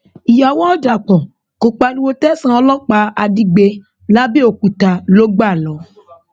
ìyàwó ọdàpọ kò pariwo tẹsán ọlọpàá àdígbé làbẹọkúta ló gbà lọ